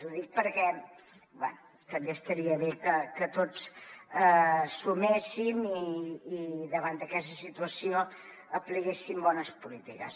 ho dic perquè bé també estaria bé que tots suméssim i davant d’aquesta situació apliquéssim bones polítiques